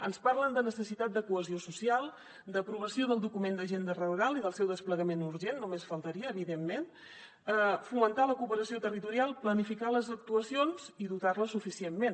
ens parlen de necessitat de cohesió social d’aprovació del document d’agenda rural i del seu desplegament urgent només faltaria evidentment de fomentar la cooperació territorial planificar les actuacions i dotar les suficientment